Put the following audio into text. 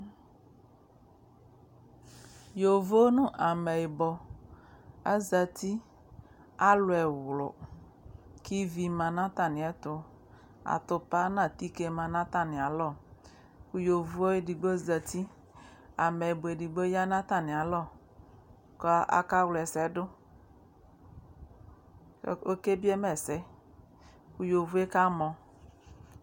Yovo nʋ ameyibɔ azati, alʋ ɛwlʋ kʋ ivi ma nʋ atamɩɛtʋ, atʋpa nʋ atike ma nʋ atamɩalɔ kʋ yovo yɛ edigbo zati Ameyibɔ edigbo ya nʋ atamɩalɔ kʋ akawla ɛsɛ dʋ kʋ ɔkebie ma ɛsɛ kʋ yovo yɛ kamɔ